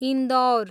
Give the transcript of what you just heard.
Indore